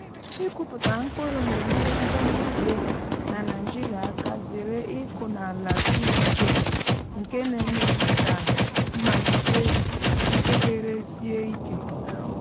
ịkụpụta mkpụrụ na-enyere ndị ọrụ ugbo na naịjirịa aka zere ịkụ n’ala siri ike nke na-eme ka mmalite mpekere sie ike.